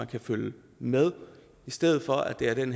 kan følge med i stedet for at det er den